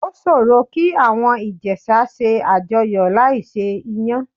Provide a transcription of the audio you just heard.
Ó ṣòro kí àwọn Ìjẹ̀sà ṣe àjọyọ̀ láì se Iyán.